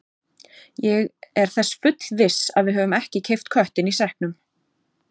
Ég er þess fullviss að við höfum ekki keypt köttinn í sekknum.